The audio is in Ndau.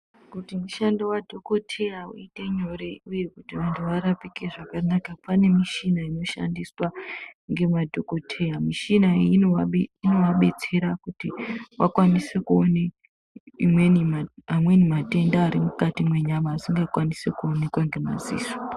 Kuti mushando wadhokoteya uite nyore uye kuti munthu arapike zvakanaka pane mishina inoshandiswa ngemadhokoteya, mishina iyi inovabetsera kuti vakwanise kuona amweni matenda ari mukati mwenyama asingakwanisi kuonekwa ngemaziso.